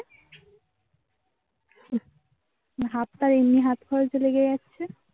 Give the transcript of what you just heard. হাতটা এমনি হাত ফালতু লেগে গেছে